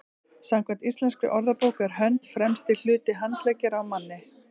samkvæmt íslenskri orðabók er hönd „fremsti hluti handleggjar á manni